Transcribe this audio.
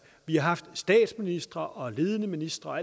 vi har haft statsministre og ledende ministre og